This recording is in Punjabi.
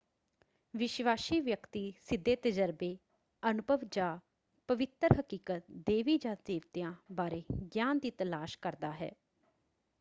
ਵਿਸ਼ਵਾਸੀ ਵਿਅਕਤੀ ਸਿੱਧੇ ਤਜਰਬੇ ਅਨੁਭਵ ਜਾਂ ਪਵਿੱਤਰ ਹਕੀਕਤ/ਦੇਵੀ ਜਾਂ ਦੇਵਤਿਆਂ ਬਾਰੇ ਗਿਆਨ ਦੀ ਤਲਾਸ਼ ਕਰਦਾ ਹੈ।